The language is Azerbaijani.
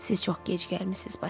Siz çox gec gəlmisiz, Basil.